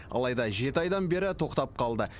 алайда жеті айдан бері тоқтап қалды